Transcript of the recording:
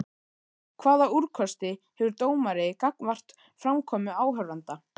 Hvaða úrkosti hefur dómari gagnvart framkomu áhorfenda?